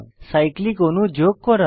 cyclic অণু যোগ করা